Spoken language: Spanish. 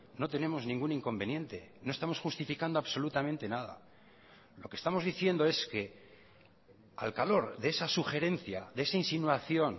no tenemos ningún inconveniente no estamos justificando absolutamente nada lo que estamos diciendo es que al calor de esa sugerencia de esa insinuación